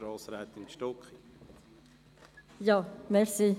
Grossrätin Stucki, Sie haben das Wort.